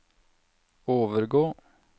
overgå